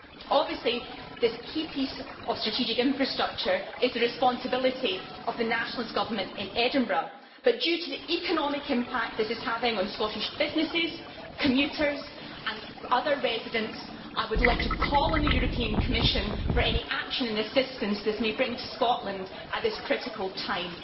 Obviously, this key piece of strategic infrastructure is the responsibility of the Nationalist government in Edinburgh, but due to the economic impact this is having on Scottish businesses, commuters and other residents, I would like to call on the Commission for any action and assistance it may bring to Scotland at this critical time.